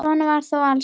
Svo var þó alls ekki.